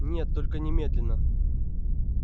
нет только немедленно